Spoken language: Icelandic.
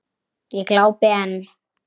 Ég glápi enn.